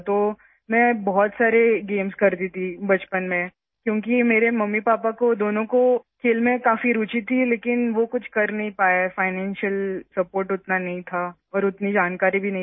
اس لیے میں بچپن میں بہت زیادہ گیمز کھیلتی تھی، کیونکہ میرے والدین دونوں ہی کھیلوں میں بہت دلچسپی رکھتے تھے، لیکن وہ کچھ نہیں کر سکتے تھے، مالی مدد اتنی زیادہ نہیں تھی اور نہ ہی اتنی معلومات دستیاب تھیں